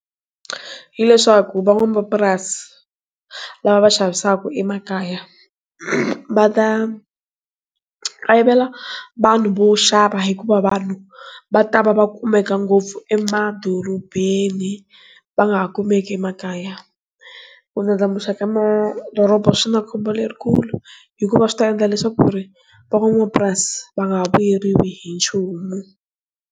Hileswaku va n'wamapurasi lava va xavisaka emakaya va ta vanhu vo xava hikuva vanhu va ta va va kumeka ngopfu emadorobeni va nga ha kumeki emakaya ku ndlandlamuxa ka madoroba swi na khombo lerikulu hikuva swi ta endla leswaku ku ri van'wapurasi va nga vuyeriwi hi nchumu.